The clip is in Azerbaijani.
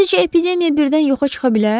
Sizcə, epidemiya birdən yoxa çıxa bilər?